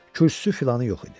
Kürsüsü filanı yox idi.